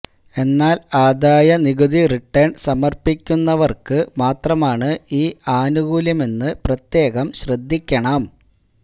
എന്നാല് ആദായ നികുതി റിട്ടേണ് സമര്പ്പിക്കുന്നവര്ക്ക് മാത്രമാണ് ഈ ആനുകൂല്യമെന്ന് പ്രത്യേകം ശ്രദ്ധിക്കണം